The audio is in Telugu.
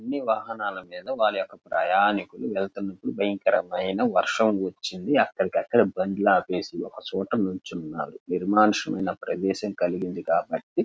అన్ని వాహనాల మీద వాళ్ల యొక్క ప్రయాణికులు వెళ్తుండ గా ఒక భయంకరమైన వర్షం వచ్చింది అక్కడికక్కడే బండ్లు ఆపేసి ఒకచోట నిల్చున్నారు నిర్మానుష్యమైన ప్రదేశం కలిగింది కాబట్టి --